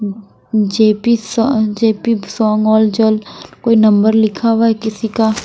J P सा J P कोई नंबर लिखा हुआ है किसी का--